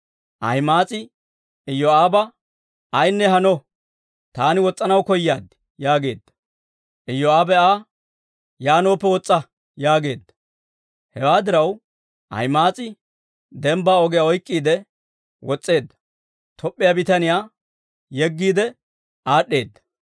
Ahima'aas'i Iyoo'aaba, «Ayinne hano; taani wos's'anaw koyaad» yaageedda. Iyoo'aabe Aa, «Yaanooppe wos's'a» yaageedda. Hewaa diraw, Ahima'aas'i dembbaa ogiyaa oyk'k'iide wos's'eedda; Toop'p'iyaa bitaniyaa yeggiide aad'd'eedda.